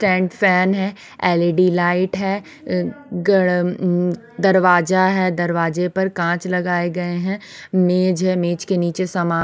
tank fan है LED light है उम्म अ दरवाज़ा है दरवाज़े पर कांच लगाए गए है निछ है निछ के नीचे सामान --